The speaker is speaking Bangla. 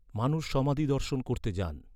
মানুষ সমাধি দর্শন করতে যান।